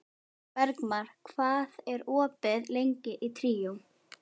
Bergmar, hvað er opið lengi í Tríó?